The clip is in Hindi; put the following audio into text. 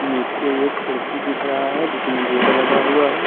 नीचे एक खिड़की दिख रहा हैजिसमें गेट लगा हुआ है।